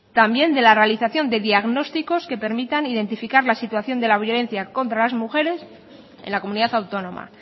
también de la realización de diagnósticos que permitan identificar la situación de la violencia contra las mujeres en la comunidad autónoma